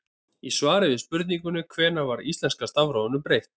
Í svari við spurningunni Hvenær var íslenska stafrófinu breytt?